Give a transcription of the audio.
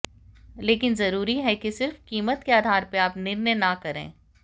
लेकिन जरूरी है कि सिर्फ कीमत के आधार पर आप निर्णय न करें